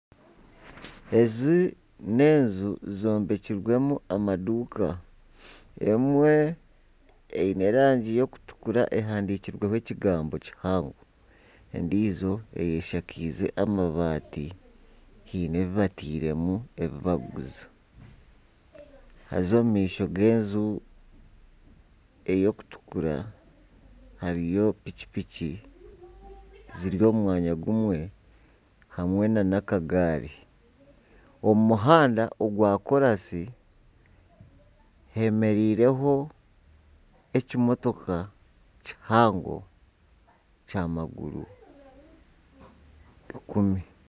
Ezi n'enju zombekirwemu amaduuka emwe eine erangi y'okutukura ehandikirweho ekigambo kihango endiijo eshakirwe amabaati haine ebi batairemu barikuguza haza omu maisho g'enju erikutukura hariyo pikipiki ziri omu mwanya gumwe hamwe nana akagaari omu muhanda ogwa koorasi heemereireho ekimotoka kihango kya maguru ikumi